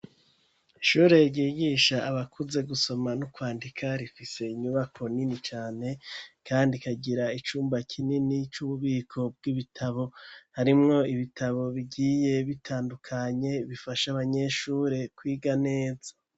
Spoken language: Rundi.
Ishure, ryigisha abakuze, gusoma n'ukwandika, rifise inyubako nini cane, kandi ikagira icumba kinini, c'ububiko bw'ibitabo; harimwo ibitabo, bigiye bitandukanye, bifasha abanyeshure, kwiga neza.